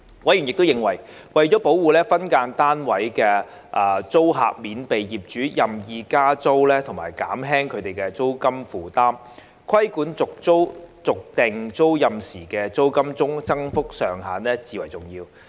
委員亦認為，為了保護分間單位租客免被業主任意加租和減輕他們的租金負擔，規管續訂租賃時的租金增幅上限至為重要。